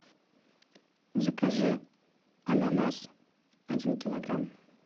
закажи ананас один килограмм